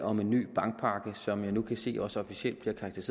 om en ny bankpakke som jeg nu kan se også officielt bliver kaldt